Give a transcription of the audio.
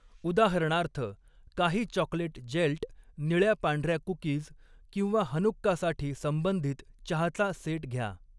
उदाहरणार्थ, काही chocolate gelt, निळ्या पांढऱ्या कुकीज किंवा हनुक्कासाठी संबंधित चहाचा सेट घ्या.